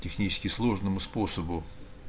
технически сложному способу